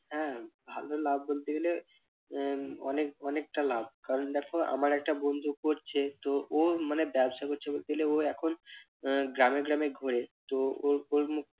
হ্যাঁ ভালো লাভ বলতে গেলে আহ অনেক অনেকটা লাভ কারণ দেখো আমার একটা বন্ধু করছে তো ও মানে ব্যবসা করছে বলতে গেলে ও এখন আহ গ্রামে গ্রামে ঘোরে তো ওর ওর মুখ